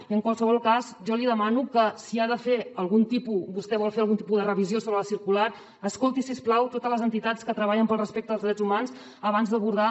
i en qualsevol cas jo li demano que si vostè vol fer algun tipus de revisió sobre la circular escolti si us plau totes les entitats que treballen pel respecte als drets humans abans d’abordar